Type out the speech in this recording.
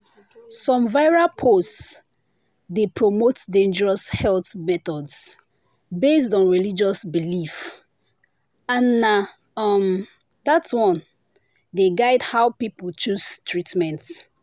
some viral posts dey promote dangerous health methods based on religious belief and na um that one dey guide how people choose treatment.”